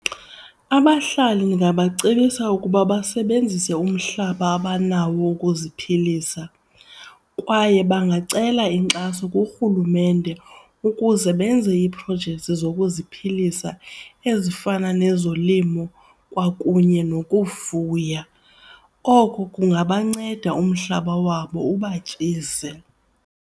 Abahlali ndingabacebisa ukuba basebenzise umhlaba abanawo ukuziphilisa. Kwaye bangancela inkxaso kurhulumente ukuze benze iiprojekthi zokuziphilisa ezifana nezolimo kwakunye nokufuya, oko kungabanceda umhlaba wabo uba batyise.